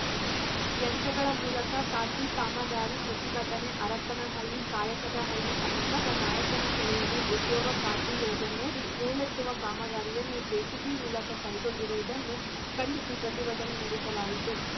ಯಂತ್ರಗಳ ಮೂಲಕ ಖಾತ್ರಿ ಕಾಮಗಾರಿ ಪ್ರತಿಭಟನೆ ಹರಪನಹಳ್ಳಿ ಕಾಯಕದಹಳ್ಳಿ ಸಮೀಪದ ನಾಯಕನ ಕೆರೆಯಲ್ಲಿ ಉದ್ಯೋಗ ಖಾತ್ರಿ ಯೋಜನೆಯಡಿ ಹೂಳೆತ್ತುವ ಕಾಮಗಾರಿಯನ್ನು ಜೆಸಿಬಿ ಮೂಲಕ ಕೈಗೊಂಡಿರುವುದನ್ನು ಖಂಡಿಸಿ ಪ್ರತಿಭಟನೆ ನಡೆಸಲಾಯಿತು